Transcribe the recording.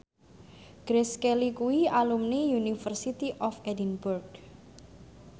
Grace Kelly kuwi alumni University of Edinburgh